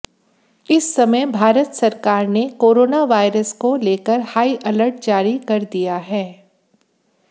इस समय भारत सरकार ने कोरोना वायरस को लेकर हाई अलर्ट जारी कर दिया है